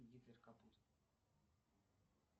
гитлер капут